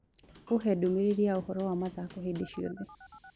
uhe ndumĩriri yaũhoro wa mathako hindi cĩothe